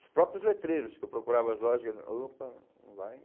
Os próprios letreiros que eu procurava as lojas, opa, não vai.